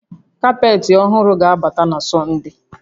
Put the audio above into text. Kapetị ọhụrụ ga-abata na Sọnde